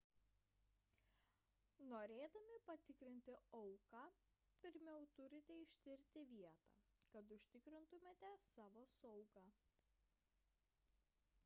norėdami patikrinti auką pirmiau turite ištirti vietą kad užtikrintumėte savo saugą